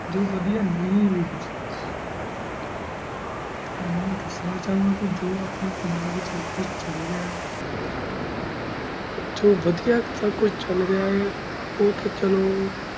ਜੋ ਵਾਦੇ ਨੀ ਵੀ ਹੈਂ ਹੁਣ ਮੈਂ ਤੁਵਾਨੁ ਦਸਣਾ ਚੁਣਦਾ ਜੀਰਾ ਕੁਛ ਅਪਨ੍ਯਨ ਪੰਜਾਬ ਵੇਚ ਚਲ ਰਿਹਾ ਆਯ ਜੋ ਵਾਦੇਯਾ ਜੋ ਕੁਛ ਚਲ ਰਿਹਾ ਆਯ ਉਤਨ ਚਾਲੂ